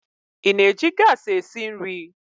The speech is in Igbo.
Ị na-eji gas esi nri?